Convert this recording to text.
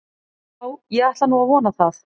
Já, ég ætla nú að vona það.